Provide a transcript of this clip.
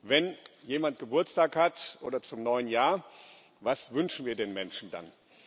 Wenn jemand Geburtstag hat, oder zum neuen Jahr Was wünschen wir den Menschen dann?